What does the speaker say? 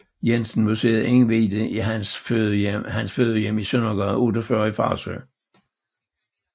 Jensen Museet indviet i hans fødehjem i Søndergade 48 i Farsø